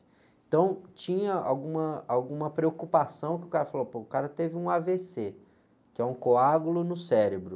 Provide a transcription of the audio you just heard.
Então tinha alguma, alguma preocupação que o cara falou, pô, o cara teve um á-vê-cê, que é um coágulo no cérebro.